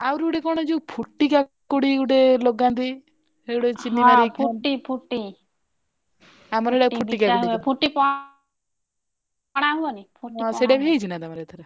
ଆହୁରି ଗୋଟେ କଣ ଯୋଉ ଫୁଟି କାକୁଡି ଗୋଟେ ଲଗନ୍ତି ସେଗୁଡିକ ହଁ ଫୁଟି ଫୁଟି ଚିନୀ ଲଗେଇ ଖାଆନ୍ତି ଆମର ଇଆଡେ ଫୁଟି କାକୁଡି କହନ୍ତି ତାକୁ ଫୁଟି ପଣା ହୁଏନି ସେଇଟା ବି ହେଇଛି ନା ତମର ଏଇଥର।